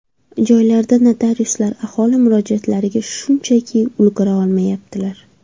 Joylarda notariuslar aholi murojaatlariga shunchaki ulgura olmayaptilar.